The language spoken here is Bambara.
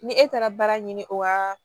Ni e taara baara ɲini o waa